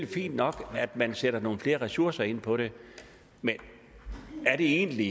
fint nok at man sætter nogle flere ressourcer ind på det men er det egentlig